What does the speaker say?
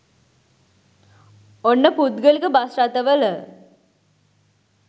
ඔන්න පුද්ගලික බස් රථ වල